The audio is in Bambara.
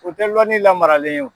U tɛ lɔnni lamaralen ye o.